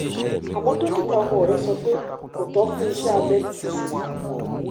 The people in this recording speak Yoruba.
àmó dókítà ọmọ rẹ sọ pé kò tó fún iṣé abẹ nísinsìnyí